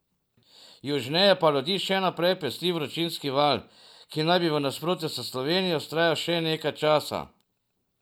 Južneje pa ljudi še naprej pesti vročinski val, ki naj bi v nasprotju s Slovenijo vztrajal še nekaj časa.